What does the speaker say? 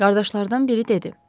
Qardaşlardan biri dedi.